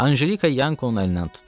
Anjelika Yankonun əlindən tutdu.